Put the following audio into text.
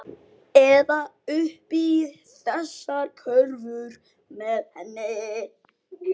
Eða uppi í þessari körfu með henni.